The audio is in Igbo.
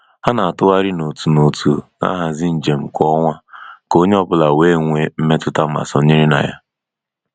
Ha na-atụgharị n'otu n'otu na-ahazi njem kwa ọnwa ka onye ọ bụla wee nwee mmetụta ma sonyere na ya.